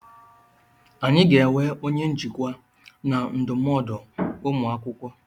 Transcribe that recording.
Anyị ga-enwe onye njikwa na ndụmọdụ ụmụ akwụkwọ.